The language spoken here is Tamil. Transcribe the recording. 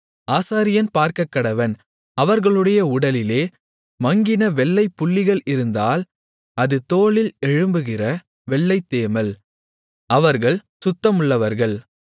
ஆசாரியன் பார்க்கக்கடவன் அவர்களுடைய உடலிலே மங்கின வெள்ளைப் புள்ளிகள் இருந்தால் அது தோலில் எழும்புகிற வெள்ளைத்தேமல் அவர்கள் சுத்தமுள்ளவர்கள்